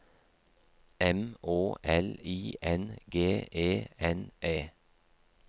M Å L I N G E N E